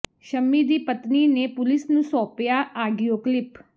ਸ਼ਮੀ ਦੀ ਪਤਨੀ ਨੇ ਪੁਲਿਸ ਨੂੰ ਸੌ ਾਪਿਆ ਆਡੀਓ ਕਲਿਪ